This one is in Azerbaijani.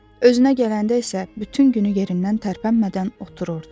Özünə gələndə isə bütün günü yerindən tərpənmədən otururdu.